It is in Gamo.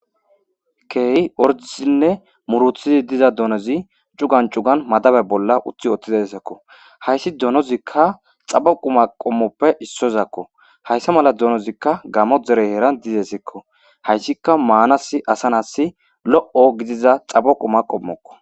keeyi ordisinne muruthizi diza donozi cugan cugan madabe bolla uthi ooththizassakko hayssi doonozikka xabo qu ma qommoppe issozakko hayssa mala doonozikka gammo dere heeran dizesikko hayssika maanas asa nasi lo7o gidiza xabo quma qommokko